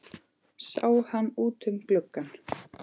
Sáum hann út um glugga.